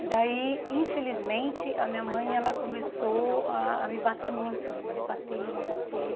E daí, infelizmente, a minha mãe ela começou ah a me bater muito, me bater, me bater.